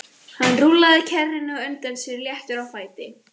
Hann rúllaði kerrunni á undan sér léttur á fæti.